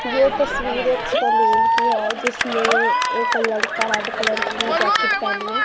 ये तस्वीर एक सैलून की है जिसमें एक लड़का रेड कलर की जैकिट पहनी है।